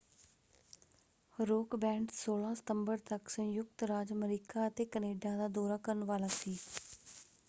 Rock band 16 ਸਤੰਬਰ ਤੱਕ ਸੰਯੁਕਤ ਰਾਜ ਅਮਰੀਕਾ ਅਤੇ ਕੈਨੇਡਾ ਦਾ ਦੌਰਾ ਕਰਨ ਵਾਲਾ ਸੀ।